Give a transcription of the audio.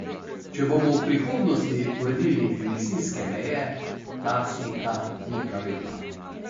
Če bomo v prihodnosti uredili emisijske meje, ta slika ni pravilna.